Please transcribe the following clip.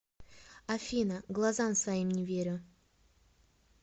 афина глазам своим не верю